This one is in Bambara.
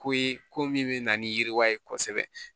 Ko ye ko min bɛ na ni yiriwa ye kosɛbɛ